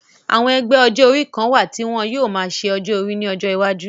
Àwọn ẹgbẹ́ ọjọ́ orí kan wà tí wọ́n yóò máa ṣe ọjọ́ orí ní ọjọ iwájú